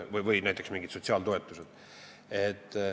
Samuti on mingite sotsiaaltoetustega.